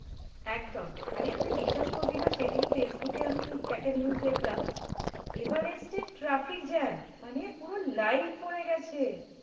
একদম মানে তুই বিশ্বাস করবি না? সেই দিনই ফেসবুকে আমি একটা news দেখলাম, এভারেস্টের traffic jam মানে পুরো line পড়ে গেছে?